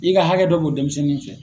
N'i ka hakɛ dɔ bi denmisɛnnin fɛ.